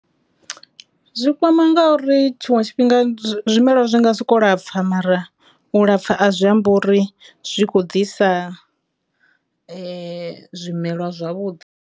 Zwi kwama ngauri tshiṅwe tshifhinga zwimelwa zwi nga siko lapfa mara u lapfha a zwi amba uri zwi kho ḓisa zwimelwa zwavhuḓi.